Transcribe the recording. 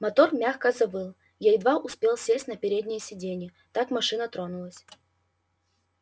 мотор мягко завыл я едва успел сесть на переднее сиденье как машина тронулась